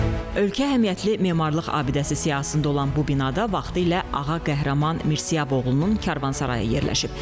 Ölkə əhəmiyyətli memarlıq abidəsi siyahısında olan bu binada vaxtilə Ağa Qəhrəman Mirsiyaboğlunun karvansarayı yerləşib.